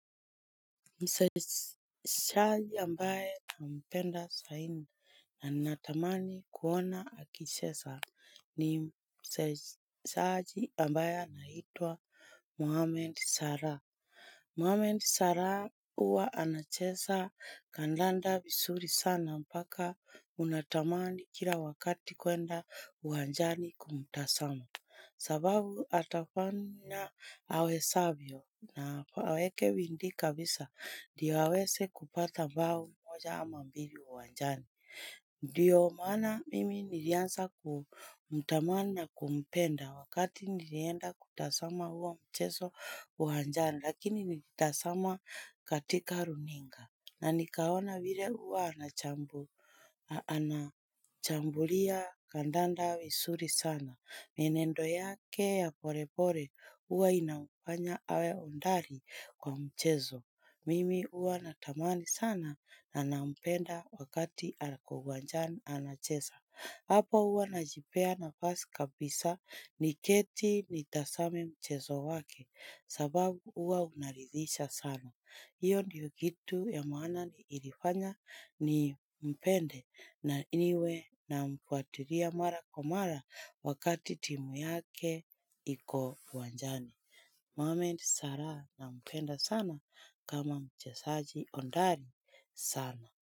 Msesajaji ambaye nampenda saini na natamani kuona akishesa ni msesaji ambaye anaitwa Muhammad Sara. Muhammad Sara uwa anachesa kandanda visuri sana mpaka unatamani kila wakati kuenda uwanjani kumtasama. Sababu atafanya awesavyo na aweke bindii kabisa ndio awese kupata mbao moja ama mbili uwanjani. Ndiyo maana mimi niliansa kumtamani na kumpenda wakati nilienda kutasama huo mcheso uwanjani lakini nilitasama katika runinga. Na nikaona vile huwa anachambulia kandanda visuri sana. Mienendo yake ya pore pore huwa inamfanya awe ondari kwa mchezo. Mimi huwa natamani sana na nampenda wakati ako uwanjani anacheza. Hapo huwa najipea nafasi kabisa niketi nitasame mchezo wake sababu uwa unarithisha sana. Hiyo ndiyo kitu ya maana ilifanya nimpende na niwe namfuatiria mara kwa mara wakati timu yake iko uwanjani. Muhammad sara nampenda sana kama mchesaji ondari sana.